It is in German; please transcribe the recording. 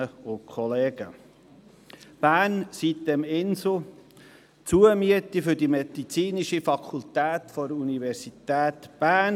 der BaK. «Bern, sitem-insel, Zumiete für die medizinische Fakultät der Universität Bern.